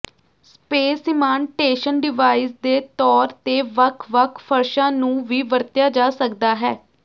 space ਸੀਮਾਂਟੇਸ਼ਨ device ਦੇ ਤੌਰ ਤੇ ਵੱਖ ਵੱਖ ਫਰਸ਼ਾਂ ਨੂੰ ਵੀ ਵਰਤਿਆ ਜਾ ਸਕਦਾ ਹੈ